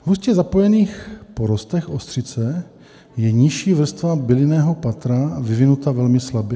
V hustě zapojených porostech ostřice je nižší vrstva bylinného patra vyvinuta velmi slabě.